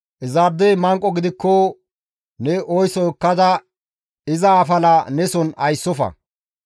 Izaadey manqo gidikko ne oyso ekkada iza afala ne soon ayssofa.